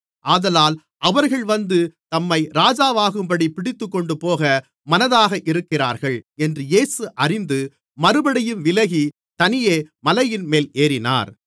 ஆதலால் அவர்கள் வந்து தம்மை ராஜாவாக்கும்படிப் பிடித்துக்கொண்டுபோக மனதாக இருக்கிறார்கள் என்று இயேசு அறிந்து மறுபடியும் விலகி தனியே மலையின்மேல் ஏறினார்